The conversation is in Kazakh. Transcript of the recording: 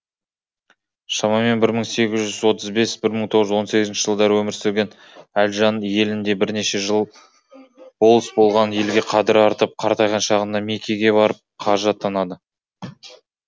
шамамен бір мың сегіз жүз отыз бес бір мың тоғыз жүз он сегізінші жылдары өмір сүрген әлжан елінде бірнеше жыл болыс болған елге қадірі артып қартайған шағында мекеге барып қажы атанады